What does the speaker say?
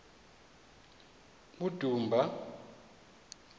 udumba